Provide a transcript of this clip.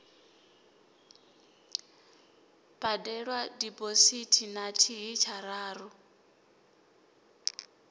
badelwa diphosithi na thihi tshararu